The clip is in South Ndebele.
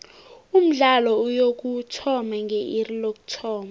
umdlalo uyokuthoma nge iri lokuthoma